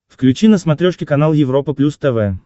включи на смотрешке канал европа плюс тв